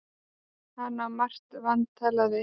Hann á margt vantalað við